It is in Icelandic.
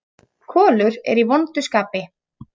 Kolur er í vondu skapi.